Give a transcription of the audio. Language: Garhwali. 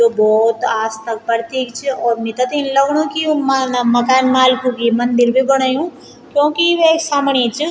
यु भौत आस्था क प्रतीक च और मिथे त इन लगणू की यु मालना माकनमाल्क्यु की मंदिर भी बणयूं क्योंकि वे सामणी च।